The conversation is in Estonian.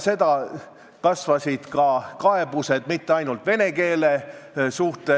Me teame, et interneeduses toimuvad koledad õigusrikkumised: seal toimub laste ärakasutamine, seal toimub keelatud mõjuainete müümine.